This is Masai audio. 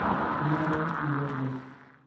kenare niyiolou.